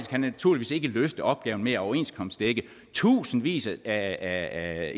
kan naturligvis ikke løfte opgaven med at overenskomstdække tusindvis af